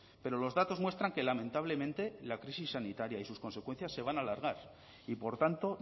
pero los datos muestran que lamentablemente la crisis sanitaria y sus consecuencias se van alargar y por tanto